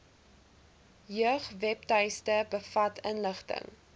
jeugwebtuiste bevat inligting